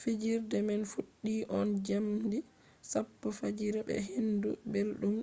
fijirde man fuddi on jamdi sappo fajira be hendu beldum